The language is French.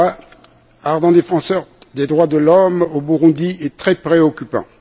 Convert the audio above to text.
Mbonimpa, ardent défenseur des droits de l'homme au Burundi est très préoccupant.